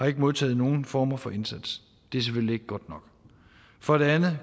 ikke modtaget nogen former for indsats det er selvfølgelig ikke godt nok for det andet